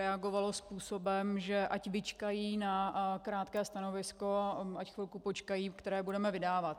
Reagovalo způsobem, že ať vyčkají na krátké stanovisko, ať chvilku počkají, které budeme vydávat.